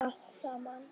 Allt saman.